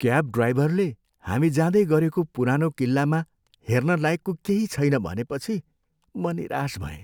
Cab ड्राइभरले हामी जाँदै गरेको पुरानो किल्लामा हेर्न लायकको केही छैन भनेपछि, म निराश भएँ।